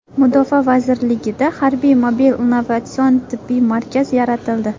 Mudofaa vazirligida harbiy mobil innovatsion tibbiy markaz yaratildi.